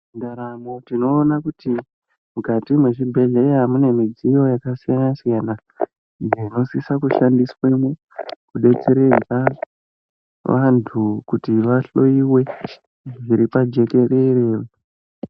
Mundaramo tinoona kuti ,mukati mwezvibhedhleya mune midziyo yakasiyana-siyana, iyo inosisa kushandiswemwo, kudetseredza, vantu kuti vahloiwe zviri pajekerere.